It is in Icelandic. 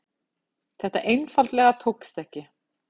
Það einfaldlega tókst ekki.